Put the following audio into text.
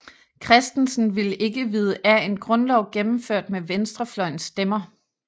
Christensen ville ikke vide af en Grundlov gennemført med venstrefløjens stemmer